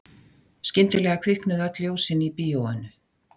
Skyndilega kviknuðu öll ljósin í bíóinu.